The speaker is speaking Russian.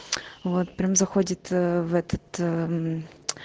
вот прям заходит ээ в этот мм